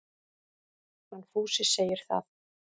Hann Fúsi segir það.